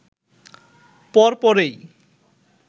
পর পরেই